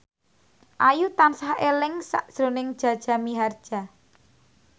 Ayu tansah eling sakjroning Jaja Mihardja